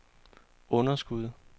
underskud